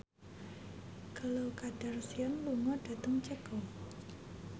Khloe Kardashian lunga dhateng Ceko